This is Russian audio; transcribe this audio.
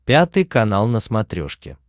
пятый канал на смотрешке